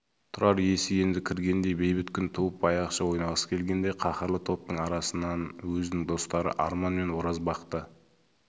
тұрар есі енді кіргендей бейбіт күн туып баяғыша ойнағысы келгендей қаһарлы топтың арасынан өзінің достары арман мен оразбақты